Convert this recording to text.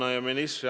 Aitäh!